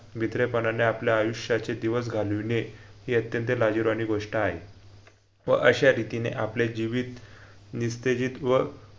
भित्रेपणानें आपल्या आयुष्याचे दिवस घालविणे ही अत्यंत लाजिरवाणी गोष्ट आहे व अशा रितीने आपले जीवित निस्तेजित व